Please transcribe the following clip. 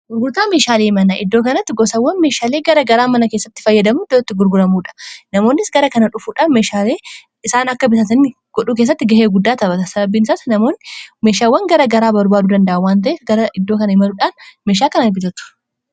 gurgurtaa meeshaalee mana iddoo kanatti gosawwan meeshaalee gara garaa mana kessatti fayyadamuu idotatti gurguramuudha namoonnis gara kana dhufuudhaan meeshaalii isaan akka bisaasanii godhuu kessatti ga'ee guddaa tabata sababbiin isaas namoonn meeshaawwan gara garaa barbaaduu danda'awwan ta'e gara iddoo kana imaluudhaan meeshaa kana bitatu